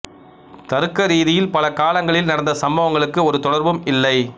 தருக்க ரீதியில் பல காலங்களில் நடந்த சம்பவங்களுக்கு ஒரு தொடர்பும் இல்லை